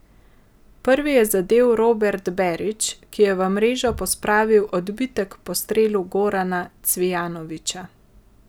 Prvi je zadel Robert Berić, ki je v mrežo pospravil odbitek po strelu Gorana Cvijanovića.